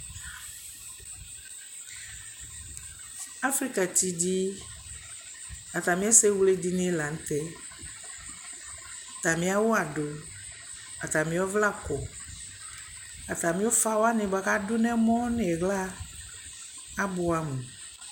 Aƒrika ti di atami ɛsɛ wlɛ di lantɛ, atami awʋ adʋ, atami ɔvlɛ akɔ, atami ʋƒa wanikʋ adʋnʋ ɛmɔ nʋ ili abʋɛ amʋ